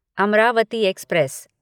Amravati express